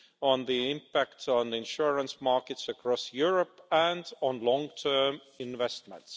on the impact on the insurance markets across Europe, and on long term investment.